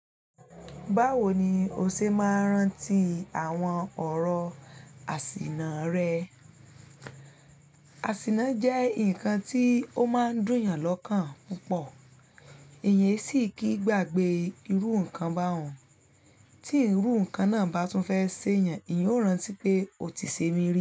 Báwo ni o ṣe máa ń rántí àwọn ọ̀rọ̀ àsìnà rẹ? Àsìnà jẹ́ nǹkan tí ó máa ń dùn yàn lọ́kàn púpọ̀, èèyan sì kí gbagbe irú nǹkan bá hun. Tí irú nǹkan náà bá tún fẹ́ ṣé yàn, éyẹn ó rántí pé o ti ṣe mi rí.